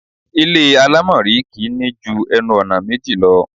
Ilé àlámọ̀rí kì í ní ju ẹnu-ọ̀nà méjì lọ.